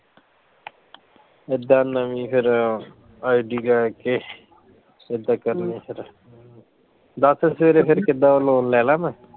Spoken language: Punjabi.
ਏਦਾਂ ਨਵੀਂ ਫੇਰ ਆਹ ID ਲੈ ਕੇ ਕਿਦਾ ਕਰਨਾ ਫੇਰ ਦੱਸ ਫੇਰ ਫੇਰ ਕਿੱਦਾਂ loan ਲੈ ਲਾ ਮੈਂ